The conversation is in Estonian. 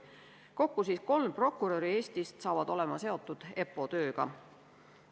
Kokku saavad Eestist kolm prokuröri olema seotud EPPO tööga.